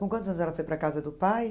Com quantos anos ela foi para a casa do pai?